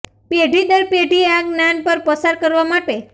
પેઢી દર પેઢી આ જ્ઞાન પર પસાર કરવા માટે